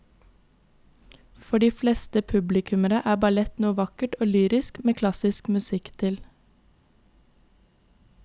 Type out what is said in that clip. For de fleste publikummere er ballett noe vakkert og lyrisk med klassisk musikk til.